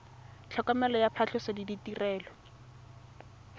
tlhokomelo ya phatlhoso le ditirelo